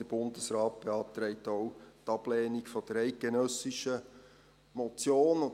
Der Bundesrat beantragt auch die Ablehnung der eidgenössischen Motion .